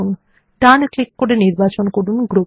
ডান click করে নির্বাচন করুন গ্রুপ